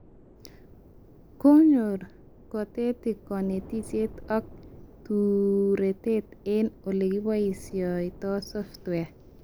Konyor kotetik konetishet ak turetet eng olekiboishendoi software